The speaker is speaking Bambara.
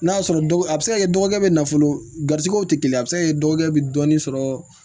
N'a sɔrɔ a bɛ se ka kɛ dɔgɔkɛ bɛ nafolo gariw tɛ kelen ye a bɛ se ka kɛ dɔgɔkɛ bɛ dɔɔnin sɔrɔ